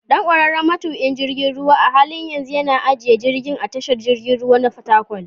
Dan, ƙwararren matuƙin jirgin ruwa, a halin yanzu yana ajiye jirgi a tashar jirgin ruwa na Fatakwal.